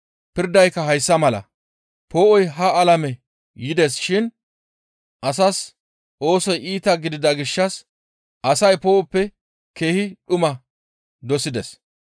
Pirdayka hayssa mala, poo7oy ha alame yides shin asaas oosoy iita gidida gishshas asay poo7oppe keehi dhuma dosides.